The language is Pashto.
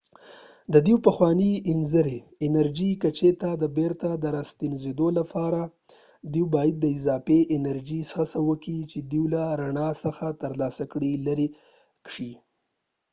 د دوی پخوانۍ انرژي کچې ته د بیرته راستنیدو لپاره دوی باید د اضافي انرژي څخه چې دوی له رڼا څخه ترلاسه کړي لرې شي